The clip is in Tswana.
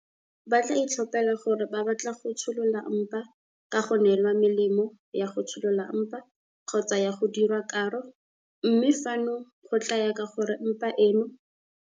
Ba tla itlhophela gore ba batla go tsholola mpa ka go neelwa melemo ya go tsholola mpa kgotsa ka go diriwa karo, mme fano go tla ya ka gore mpa eno.